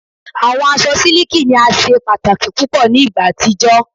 Awọn aṣọ siliki ni a ṣe pataki pupọ ni igba atijọ